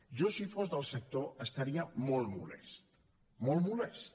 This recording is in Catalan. jo si fos del sector estaria molt molest molt molest